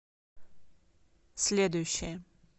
следующая